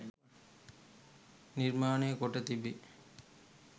නිර්මාණය කොට තිබේ.